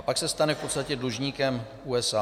A pak se stane v podstatě dlužníkem USA.